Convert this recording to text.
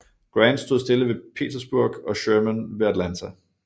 Grant stod stille ved Petersburg og Sherman ved Atlanta